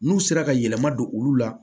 N'u sera ka yɛlɛma don olu la